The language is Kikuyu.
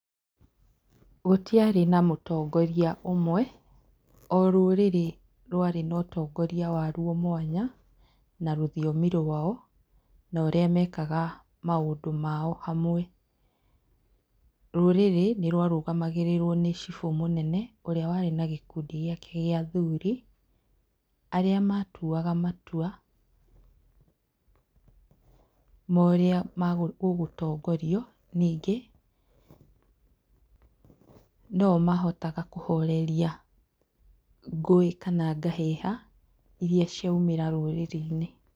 Gũtiarĩ na mũtongoria ũmwe. O rũrĩrĩ rwarĩ na mũtongoria warwo mwanya na rũthiomi rwao norĩa mekaga maũndũ mao hamwe. Rũrĩrĩ nĩrwarũgamagĩrĩrwo nĩ cibũ mũnene, ũrĩa warĩ na gĩkundi gĩake gĩa athuuri, arĩa matuaga matua ma ũrĩa gũgũtongorio. Nyingĩ, no o mahotaga kũhoreria ngũĩ kana ngahĩha iria ciaumĩra rũrĩrĩ-inĩ